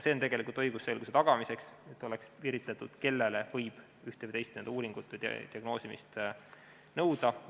See on mõeldud õigusselguse tagamiseks, et oleks piiritletud, kellele võib ühte või teist uuringut või diagnoosimist nõuda.